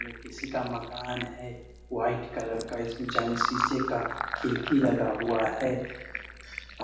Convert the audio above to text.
ये किसी का मकान है वाइट कलर का। इसमें जंग शीशे का खिड़की लगा हुआ है।